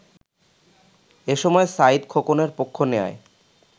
এসময় সাঈদ খোকনের পক্ষ নেয়ায়